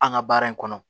An ka baara in kɔnɔ